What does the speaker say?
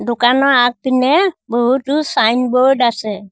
দোকানৰ আগপিনে বহুতো ছাইনবৰ্ড আছে।